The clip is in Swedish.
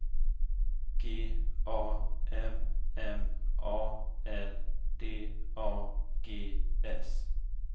G A M M A L D A G S